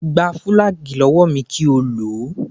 Gba fùlàgíì lọ́wọ́ mi kí o lò ó